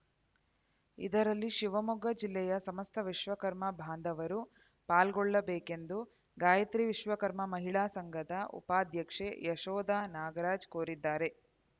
ಇದರಲ್ಲಿ ಶಿವಮೊಗ್ಗ ಜಿಲ್ಲೆಯ ಸಮಸ್ತ ವಿಶ್ವಕರ್ಮ ಬಾಂಧವರು ಪಾಲ್ಗೊಳ್ಳಬೇಕೆಂದು ಗಾಯತ್ರಿ ವಿಶ್ವಕರ್ಮ ಮಹಿಳಾ ಸಂಘದ ಉಪಾಧ್ಯಕ್ಷೆ ಯಶೋಧ ನಾಗರಾಜ್‌ ಕೋರಿದ್ದಾರೆ